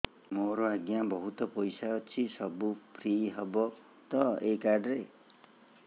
ମୋର ଆଜ୍ଞା ବହୁତ ପଇସା ଅଛି ସବୁ ଫ୍ରି ହବ ତ ଏ କାର୍ଡ ରେ